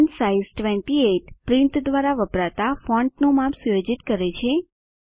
font size 28 print દ્વારા વપરાતા ફોન્ટનું માપ સુયોજિત કરે છે